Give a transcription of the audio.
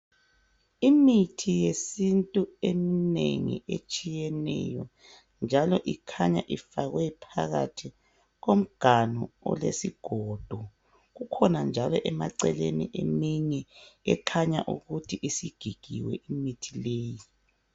Imithi yesintu eminengi etshiyeneyo njalo ikhanya ifakwe phakathi komganu olesigodo. Ikhona njalo eceleni eminye esikhanya ukuthi sigigiwe imithi leyi.